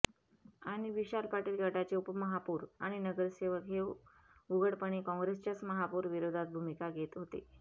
आणि विशाल पाटील गटाचे उपमहापौर आणि नगरसेवक हे उघडपणे काँग्रेसच्याच महापौर विरोधात भूमिका घेत होते